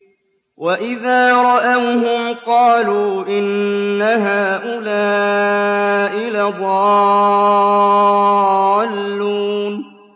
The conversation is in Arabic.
وَإِذَا رَأَوْهُمْ قَالُوا إِنَّ هَٰؤُلَاءِ لَضَالُّونَ